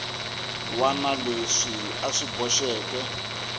wana leswi a swi boxeke